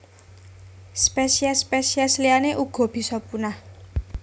Spesiés spesiés liyané uga bisa punah